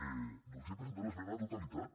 no haurien d’haver presentat esmena a la totalitat